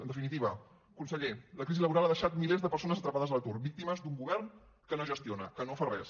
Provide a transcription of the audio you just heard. en definitiva conseller la crisi laboral ha deixat milers de persones atrapades a l’atur víctimes d’un govern que no gestiona que no fa res